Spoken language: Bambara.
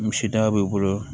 Misida b'i bolo